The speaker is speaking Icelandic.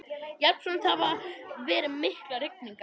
Jafnframt hafa verið miklar rigningar